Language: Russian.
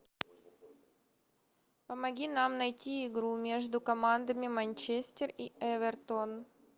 помоги нам найти игру между командами манчестер и эвертон